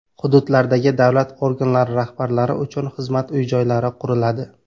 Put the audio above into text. Hududlardagi davlat organlari rahbarlari uchun xizmat uy-joylari quriladi .